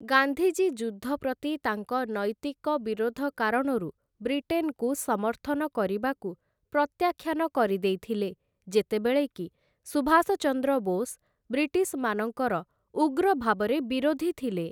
ଗାନ୍ଧୀଜୀ ଯୁଦ୍ଧ ପ୍ରତି ତାଙ୍କ ନୈତିକ ବିରୋଧ କାରଣରୁ ବ୍ରିଟେନ୍‌କୁ ସମର୍ଥନ କରିବାକୁ ପ୍ରତ୍ୟାଖ୍ୟାନ କରିଦେଇଥିଲେ, ଯେତେବେଳେ କି ସୁଭାଷ ଚନ୍ଦ୍ର ବୋଷ ବ୍ରିଟିଶ୍‌ମାନଙ୍କର ଉଗ୍ର ଭାବରେ ବିରୋଧୀ ଥିଲେ ।